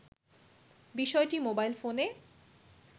বিষয়টি মোবাইল ফোনে